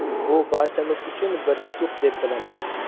Bu barchamiz uchun bir yutuq, deb bilaman.